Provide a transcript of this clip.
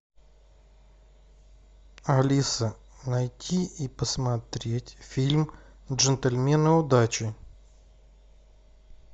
алиса найти и посмотреть фильм джентльмены удачи